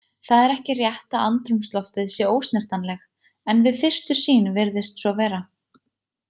Það er ekki rétt að andrúmsloftið sé ósnertanleg en við fyrstu sýn virðist svo vera.